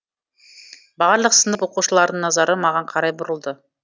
барлық сынып оқушыларының назары маған қарай бұрылды